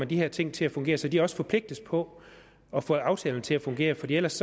de her ting til at fungere så de også forpligtes på at få aftalerne til at fungere fordi ellers